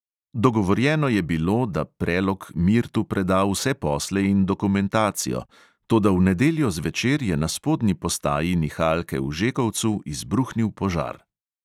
Dogovorjeno je bilo, da prelog mirtu preda vse posle in dokumentacijo, toda v nedeljo zvečer je na spodnji postaji nihalke v žekovcu izbruhnil požar.